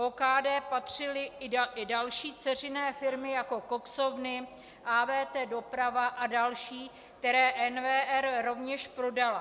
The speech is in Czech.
OKD patřily i další dceřiné firmy, jako koksovny, AWT doprava a další, které NVR rovněž prodala.